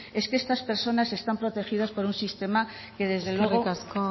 es que estas personas están protegidas por un sistema que desde luego eskerrik asko